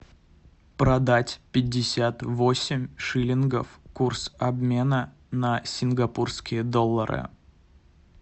продать пятьдесят восемь шиллингов курс обмена на сингапурские доллары